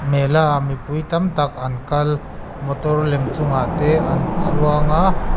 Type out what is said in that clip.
mela ah mipui tam tak an kal motor lem chungah te an chuang a.